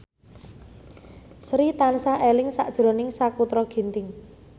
Sri tansah eling sakjroning Sakutra Ginting